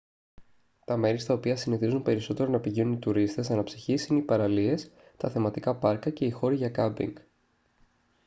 τα μέρη στα οποία συνηθίζουν περισσότερο να πηγαίνουν οι τουρίστες αναψυχής είναι οι παραλίες τα θεματικά πάρκα και οι χώροι για κάμπινγκ